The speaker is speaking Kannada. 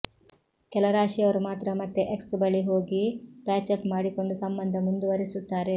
ಕೆಲ ರಾಶಿಯವರು ಮಾತ್ರ ಮತ್ತೆ ಎಕ್ಸ್ ಬಳಿ ಹೋಗಿ ಪ್ಯಾಚಪ್ ಮಾಡಿಕೊಂಡು ಸಂಬಂಧ ಮುಂದುವರೆಸುತ್ತಾರೆ